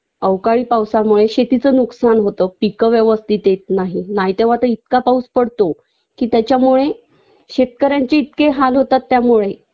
अवकाळी पावसामुळे शेतीच नुकसान होत पिकं व्यवस्थित येत नाही नाहि तेंव्हा ते इतका पाऊस पडतो कि त्याच्यामुळे शेतकऱ्यांचे इतके हाल होतात त्यामुळे